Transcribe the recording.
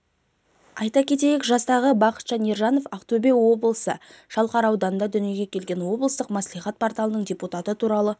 айта кетейік жастағы бақытжан ержанов ақтөбе облысы шалқар ауданында дүниеге келген облыстық мәслихат порталының депутат туралы